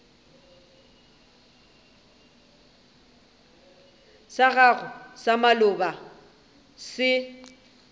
sa gago sa maloba se